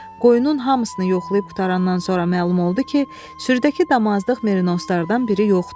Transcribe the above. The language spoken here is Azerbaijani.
Qoyunun hamısını yoxlayıb qutarandan sonra məlum oldu ki, sürüdəki damazlıq merinoslardan biri yoxdur.